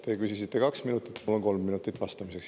Teie küsisite kaks minutit, mul on kolm minutit vastamiseks.